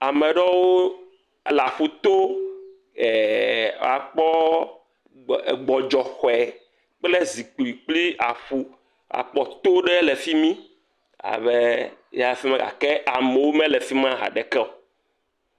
Ame aɖewo le aƒu to eeee,, aaa kpɔ gbɔdzɔe xɔ kple zikpui kpli aƒu akpɔ to aɖe le fi mi hgake amewo mele fi mi ha ɖeke o.